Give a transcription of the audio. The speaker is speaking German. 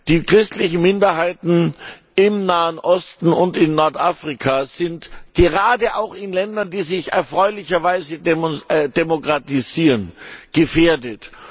Die christlichen Minderheiten im Nahen Osten und in Nordafrika sind gerade auch in Ländern, die sich erfreulicherweise demokratisieren, gefährdet.